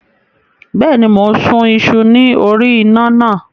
Bẹ́ẹ̀ni, mò ń sun iṣu ní orí iná náà.